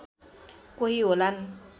कोही होलान्